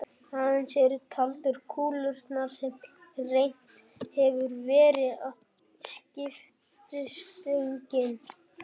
Aðeins eru taldar kúlurnar sem rennt hefur verið að skiptistönginni.